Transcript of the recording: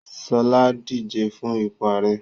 Ṣọlá ń díje fún ipò ààrẹ